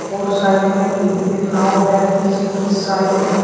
और साइड में भी एक नाव है पीछे की साइड --